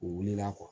U wulila